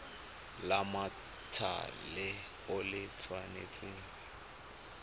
la mothale o le tshwanetse